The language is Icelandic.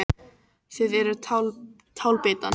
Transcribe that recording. Þið eruð tálbeitan.